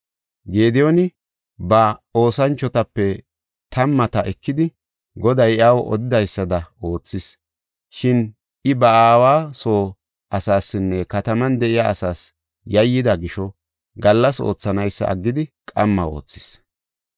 Gediyooni ba oosanchotape tammata ekidi, Goday iyaw odidaysada oothis. Shin I ba aawa soo asaasinne kataman de7iya asaas yayyida gisho gallas oothanaysa aggidi qamma oothis.